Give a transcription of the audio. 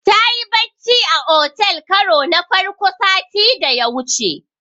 Tayi bacci a otel karo na farko sati da ya wuce.